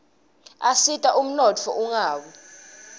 asita umnotfo ungawi